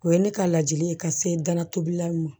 O ye ne ka ladili ye ka se dana tobilaw ma